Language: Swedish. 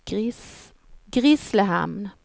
Grisslehamn